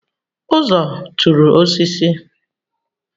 Uzo tụrụ osisi